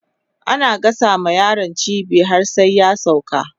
ana gasa ma yaro cibi har sai ya sauka